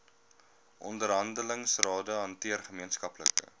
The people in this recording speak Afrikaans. onderhandelingsrade hanteer gemeenskaplike